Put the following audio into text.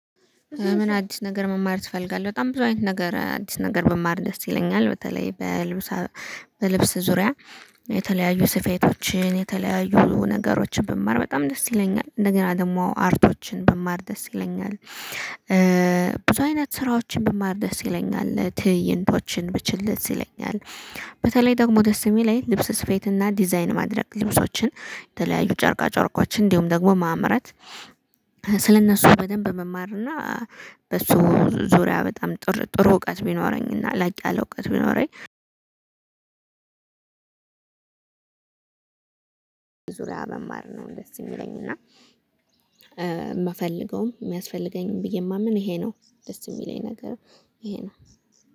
ምን አዲስ ነገር መማር ትፈልጋለህ? በጣም ብዙ አይነት ነገር አዲስ ነገር በማር ደስ ይለኛል። በተለይ በልብስ በልብስ ዙሪያ የተለያዩ ስፌቶችን የተለያዩ ነገሮችን ብማር በጣም ደስ ይለኛል እንደገና ደግሞ አርቶችን ብማር ደስ ይለኛል። ብዙ አይነት ስራዎችን በማር ደስ ይለኛል ትይይንቶችን ብችል ለዚህ ይለኛል። በተለይ ደግሞ ደስ የሚለኝ ልብስ ስፌት እና ዲዛይን ማድረግ ልብሶችን የተለያዩ ጨርቃ ጨርቆችን እንዲሁም ደግሞ ማምረት። ስለእነሱ በደንብ መማር እና በሱ ዙሪያ በጣም ጥሩ ጥሩ እውቀት ቢኖረኝ እና ላቅ ያለ እውቀት ቢኖረኝ። ዙሪያ መማር ነው ደስ የሚለኝ። እና የምፈልገውም የሚያስፈልገኝም ብዬ የማምን ይሄ ነው ደስ የሚለኝ ነገር ይሄ ነው